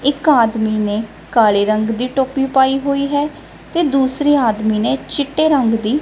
ਇੱਕ ਆਦਮੀ ਨੇ ਕਾਲੇ ਰੰਗ ਦੀ ਟੋਪੀ ਪਾਈ ਹੋਈ ਹੈ ਤੇ ਦੂਸਰੇ ਆਦਮੀ ਨੇ ਚਿੱਟੇ ਰੰਗ ਦੀ--